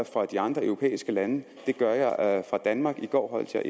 fra de andre europæiske lande det gør jeg fra danmark i går holdt jeg